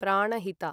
Pranahita